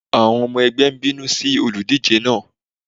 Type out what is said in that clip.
Àwọn ọmọ ẹgbẹ́ ń bínú sí olùdíje náà.